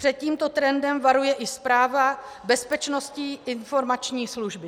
Před tímto trendem varuje i zpráva Bezpečnostní informační služby.